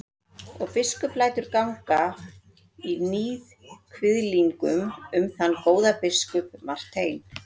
Og biskup lætur ganga í níðkviðlingum um þann góða biskup Martein.